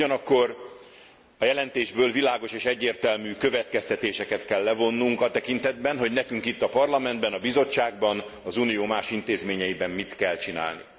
Ugyanakkor a jelentésből világos és egyértelmű következtetéseket kell levonnunk a tekintetben, hogy nekünk itt, a Parlamentben, a Bizottságban, az Unió más intézményeiben mit kell csinálni.